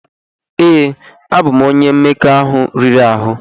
Ee, abụ m onye mmekọahụ riri ahụ.